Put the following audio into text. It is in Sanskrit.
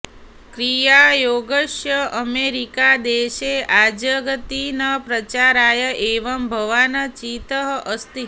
क्रियायोगस्य अमेरिकादेशे आजगति च प्रचाराय एव भवान् चितः अस्ति